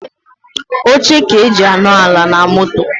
Oche ka eji anọ ala na moto.